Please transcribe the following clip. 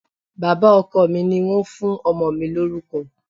Bàbá ọkọ mi ni wọ́n fún ọmọ mi lórúkọ